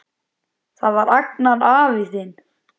Það var Agnar afi þinn.